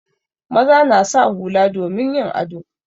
Maza na sa hula domin yin ado.